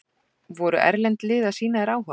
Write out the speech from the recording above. Voru erlend lið að sýna þér áhuga?